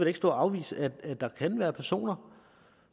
ikke stå og afvise at der kan være personer